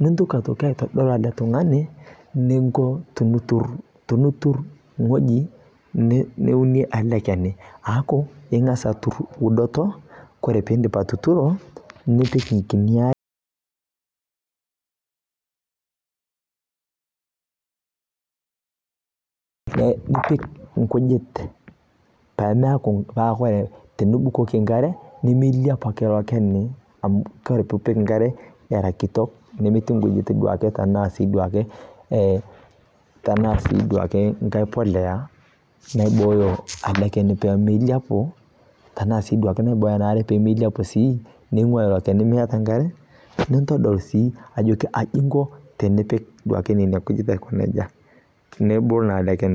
nintoki sii aitodol alee tung'ani ninko tinitur ng'oji neunie alee keni aaku ingaz atur udoto kore pindip atuturo nipik nkini aree nipik nkujit pemeaku paa kore tinibukoki nkaree nemeiliapu ake ilo keni amu kore piipik nkare era kitok nemeti nkujit tanaa sii duake tanaa sii duake ng'ai polea naibooyo ale keni pemeiliapu tanaa sii duake neibooyo ana aree pemeiliapu sii neing'ua ilo keni meata nkare nintodol sii ajoki aji inko tinipik nenia kujit aiko neja nebulu naa alee kenii.